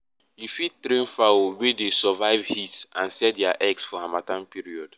you fit train fowl wey dey survive heat and sell dia eggs for harmattan period